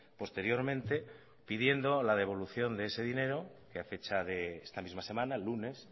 posteriormente pidiendo la devolución de ese dinero que a fecha de esta misma semana el lunes